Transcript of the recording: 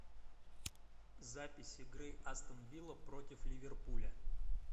запись игры астон вилла против ливерпуля